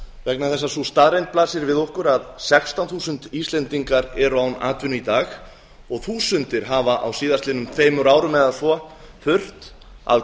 vegna þess að sú staðreynd blasir við okkur að sextán þúsund íslendingar eru án atvinnu í dag og þúsundir hafa á síðastliðnum tveimur árum eða svo þurft að